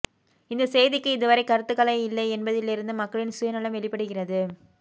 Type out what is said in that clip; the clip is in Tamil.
இந்தச் செய்திக்கு இதுவரை கருத்துக்களே இல்லை என்பதிலிருந்தே மக்களின் சுயநலம் வெளிப்படுகிறது